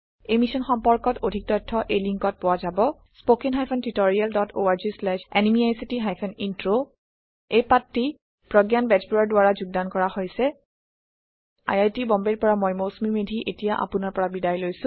এই অভিযান সম্পৰ্কে অধিক তথ্য এই লিংকত পোৱা যাব spoken hyphen tutorial dot org slash এনএমইআইচিত হাইফেন ইন্ট্ৰ এই পাঠটো প্ৰগায়ন বেজবৰুৱাৰ দ্ৱাৰা যোগদন কৰা হৈছে আই আই টি বম্বেৰ পৰা মই মৌচুমি মেধী এতিয়া আপোনাৰ পৰা বিদায় লৈছো